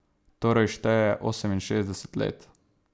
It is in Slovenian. Torej šteje oseminšestdeset let.